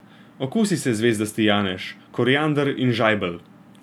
Okusi se zvezdasti janež, koriander in žajbelj.